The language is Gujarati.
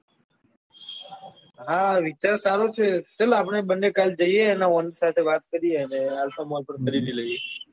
હા વિચાર સારો છે ચલ આપડે બંને કાલ જઈએ અને owner સાથે વાત કરી લઈએ alpha mall પણ ખરીદી લઈએ